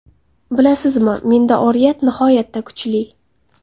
Bilasizmi, menda oriyat nihoyatda kuchli.